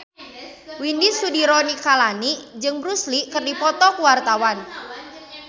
Widy Soediro Nichlany jeung Bruce Lee keur dipoto ku wartawan